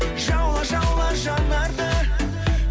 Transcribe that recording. жаула жаула жанарды